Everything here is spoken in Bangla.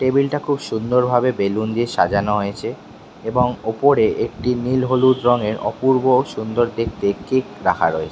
টেবিল -টা খুব সুন্দর ভাবে বেলুন দিয়ে সাজানো হয়েছে এবং ওপরে একটি নীল হলুদ রঙের অপূর্ব সুন্দর দেখতে কেক রাখা রয়ে --